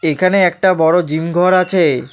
এখানে একটা বড় জিম ঘর আছে।